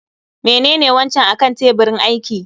Menene wancan akan tebirin aiki?